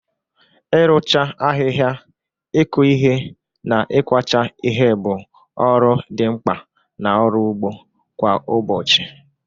Ịrụcha ahịhịa, ịkụ ihe, na ịkwacha ihe bụ ọrụ dị mkpa na ọrụ ugbo kwa ụbọchị.